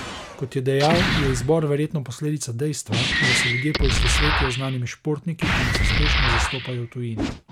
Kot je dejal, je izbor verjetno posledica dejstva, da se ljudje poistovetijo z znanimi športniki, ki nas uspešno zastopajo v tujini.